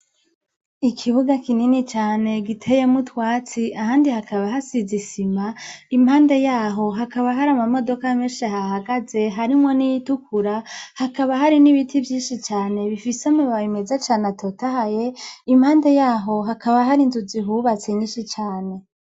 Ikibuga kinini cane giteyemwo utwatsi ahandi hakaba hasize isima, impande yaho hari amamodoka menshi ahahagaze harimwo n'iyitukura, hakaba hari n'ibiti vyinshi cane bifise amababi meza cane atotahaye. Impande yaho hakaba hari inzu zihubatse nyinshi cane.